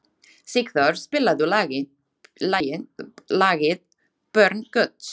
Sigdór, spilaðu lagið „Börn Guðs“.